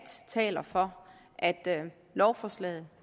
taler for at lovforslaget